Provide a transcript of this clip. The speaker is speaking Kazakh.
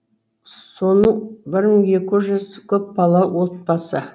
соның бір мың екі жүз көпбала отбасы